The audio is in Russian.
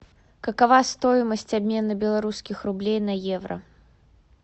какова стоимость обмена белорусских рублей на евро